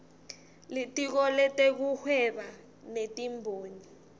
litiko letekuhweba netimboni